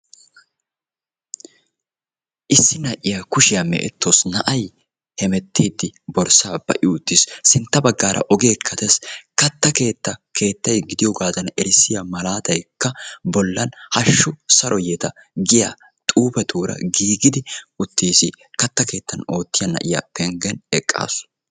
Issi na'iyaa Kushiyaa mee'etawusu; na'ay hemettiddi borssaa ba'i uttiis; sintta baggaara ogeekka dees; katta keettaa keettay gidiyogadan erissiya malaatayikka bollani hashshu Saro yeeta giya xuufetuura giigidi uttiisi; katta keettaan oottiya na'iyaa penggen eqqaasu.